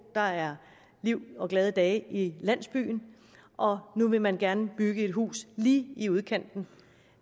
der er liv og glade dage i landsbyen og nu vil man gerne bygge et hus lige i udkanten